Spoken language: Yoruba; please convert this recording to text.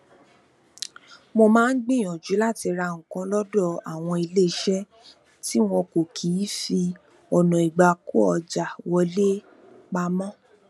mo maa n gbìyànjú láti ra nǹkan lódọ àwọn iléeṣẹ tí wọn kì í fi ọna igbakoọja wọle pamọ